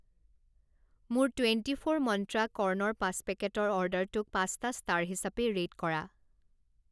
মোৰ twenty four Myntra কৰ্ণৰ পাঁচ পেকেটৰ অৰ্ডাৰটোক পাঁচটা ষ্টাৰ হিচাপে ৰে'ট কৰা।